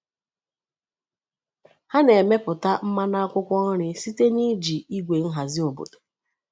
Ha na-emepụta mmanụ akwụkwọ nri site n’iji igwe nhazi obodo.